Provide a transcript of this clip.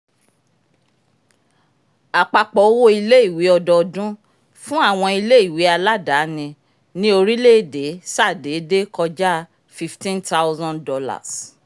apapọ owo ilè-ìwé ọdọọdún fún àwọn ilè-ìwé aladaani ni orílẹ-èdè sa déédé kọja $ 15000